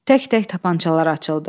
Tək-tək tapançalar açıldı.